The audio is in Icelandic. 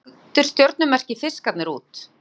Hvernig lítur stjörnumerkið Fiskarnir út?